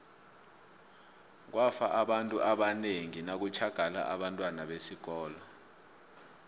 kwafa abantu abanengi ngo nakutjhagala abentwana besikolo